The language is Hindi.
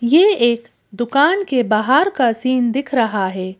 ये एक दुकान के बाहर का सीन दिख रहा है।